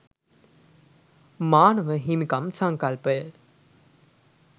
මානව හිමිකම් සංකල්පය